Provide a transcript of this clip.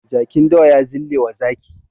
Jakin dawa ya zillewa zaki.